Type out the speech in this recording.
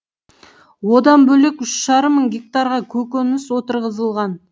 одан бөлек үш жарым мың гектарға көкөніс отырғызылған